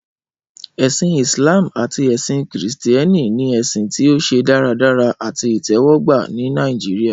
Ẹsin Islam ati ẹsin Kristiani ni ẹsin ti o ṣe daradara ati itẹwọgba ni Nigeria.